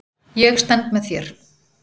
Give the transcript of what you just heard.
Ég stend með þér.